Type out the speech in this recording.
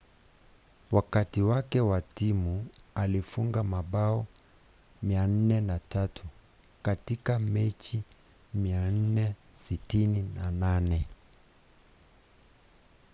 wakati wake na timu alifunga mabao 403 katika mechi 468